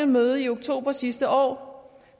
møde i oktober sidste år